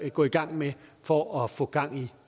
gå i gang med for at få gang